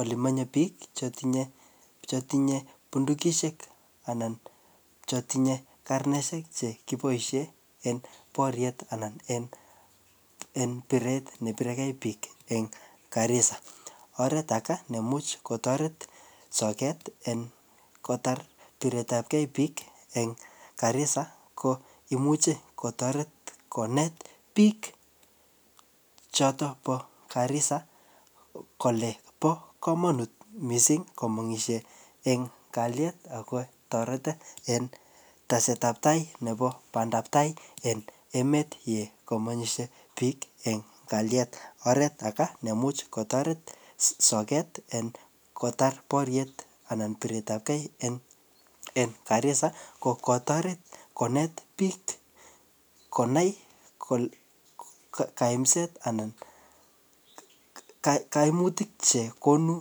elemenye biik chetinye bundugisyeek karnesyeek chegiboishen en boryeet en bireet nebiregee biik en Garissa, oret agee nemuch kotoret soget kotar bireet ab kee biik en Garissa ko imuch kotoret koneet biik choton bo Garissa kole bo komonuut komengisye en kalyeet ago toret en teset ab tai nebo bandab tai en emeet ye komengisyee biik em kalyeet, oreet age neimuch kotoret soget kotar boryeet en bireet ab gee Garissa ko kotoreet koneet biik konaai kaimseet anan koimutik chegune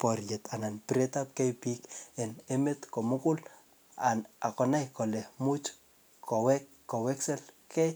boryeet anan bireet ab gee en emet komugul ak konai kole imuch koweksegee.